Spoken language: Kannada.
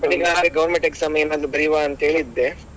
ಈಗ government exam ಏನಾದ್ರು ಬರಿಯುವಾ ಅಂತೇಳಿ ಇದ್ದೆ.